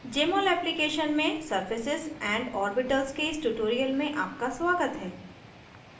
jmol application में surfaces and orbitals के इस tutorial में आपका स्वागत है